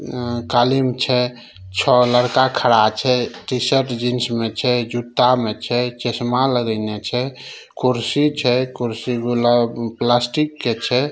अ कालीन छै छ लड़का खड़ा छै टी-शर्ट जीन्स में छै जूता में छै चश्मा लगाइने छै कुर्सी छै कुर्सी गुलाब-प्लास्टिक के छै।